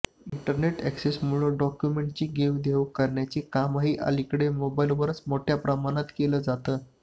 internet अॅक्सेसमुळे डॉक्युमेण्ट्ची देवघेव करण्याचं कामही अलीकडे मोबाईलवरच मोठ्या प्रमाणात केलं जातं